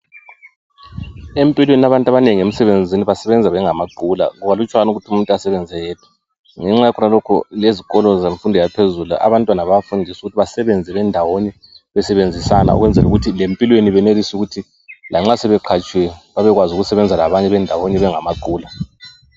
Empilweni abantu abanengi emsebenzini basebenza bengamaqula. Kukalutshwane ukuthi umuntu asebenze eyedwa. Ngenxa yakhonalokho lezikolo zemfundo yaphezulu abantwana bayafundiswa ukuthi basebenze bendawonye besebenzisana ukwenzela ukuthi lempilweni benelise ukuthi lanxa sebeqhatshiwe bebekwazi ukusebenza labanye bendawonye bengamaqula.